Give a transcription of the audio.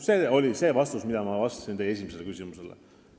See oli see vastus, mida ma vastasin teie esimesele küsimusele.